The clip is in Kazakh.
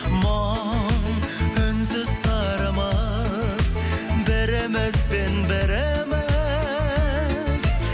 мұң үнсіз сырымыз бірімізбен біріміз